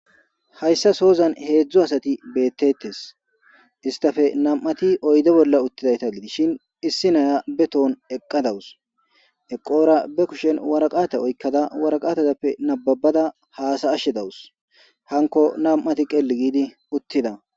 Haysa sozan 3 asati betetes. Istappe 2ti oyde bolla utidayta gidishn issi Naya be ton eqa dawus . Eqora be kushen waraqata oykada waratazappe nababada hasa'ashe dawus .